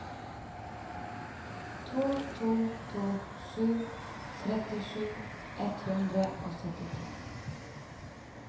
to to to sju trettisju ett hundre og syttito